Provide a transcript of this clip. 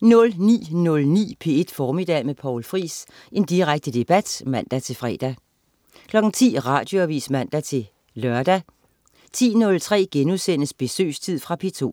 09.09 P1 Formiddag med Poul Friis. Direkte debat (man-fre) 10.00 Radioavis (man-lør) 10.03 Besøgstid.* Fra P2